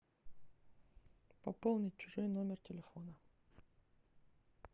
пополнить чужой номер телефона